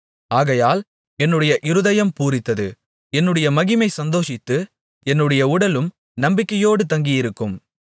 ஆகையால் என்னுடைய இருதயம் பூரித்தது என்னுடைய மகிமை சந்தோஷித்து என்னுடைய உடலும் நம்பிக்கையோடு தங்கியிருக்கும்